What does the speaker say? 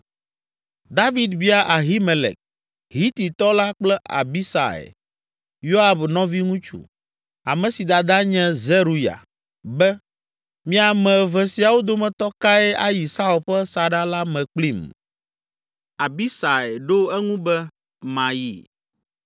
David bia Ahimelek, Hititɔ la kple Abisai, Yoab nɔviŋutsu, ame si dada nye Zeruya be, “Mi ame eve siawo dometɔ kae ayi Saul ƒe saɖa la me kplim?” Abishai ɖo eŋu be, “Mayi.”